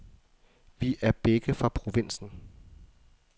Vi er begge fra provinsen.